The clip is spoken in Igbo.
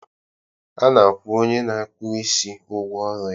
A na-akwụ onye na-akpụ isi ụgwọ ọrụ ya